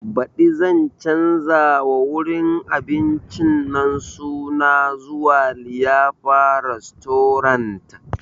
Baɗi zan canza ma wurin abincin nan suna zuwa liyafa restorant